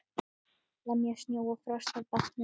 Lemja snjó og frost af bátnum.